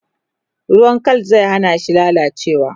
ruwan Kal zai hanashi lallacewa